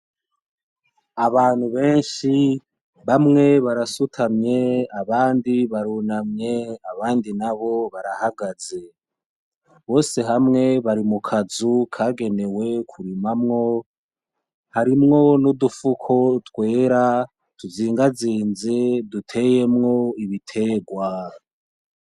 Abantu benshi bamwe barasutamye, abandi barunamye abandi nabo barahagaze, bose hamwe bari mu kanzu kagenewe kurimamwo harimwo nudufuko twera tuzigazize tuteyemwo ibiterwa.